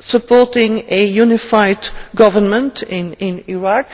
supporting a unified government in Iraq